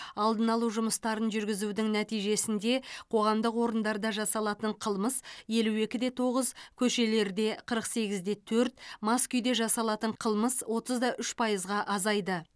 алдын алу жұмыстарын жүргізудің нәтижесінде қоғамдық орындарда жасалатын қылмыс елу екі де тоғыз көшелерде қырық сегіз де төрт мас күйде жасалатын қылмыс отыз да үш пайызға азайды